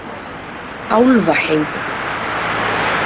Álfaheiði